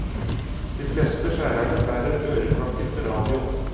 De fleste skjærerne bærer øreklokker med radio.